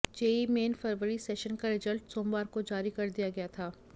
JEE main फरवरी session का result सोमवार को जारी कर दिया गया था